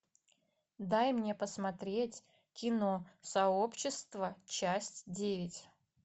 дай мне посмотреть кино сообщество часть девять